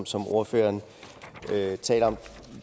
som ordføreren taler om